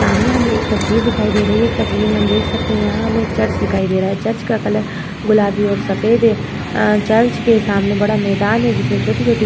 सामने हमें एक तस्वीर दिखाई दे रही है। इस तस्वीर में हम देख सकते हैं यहाँ हमें एक चर्च दिखाई दे रहा है। चर्च का कलर गुलाबी और सफ़ेद है। अ चर्च के सामने बड़ा मैदान है जिसमें छोटी - छोटी --